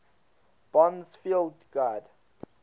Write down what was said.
bond's field guide